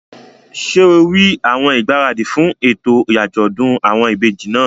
Ṣé rí àwọn ìgbáradì fún ètò àjọ̀dún àwọn ìbejì náà?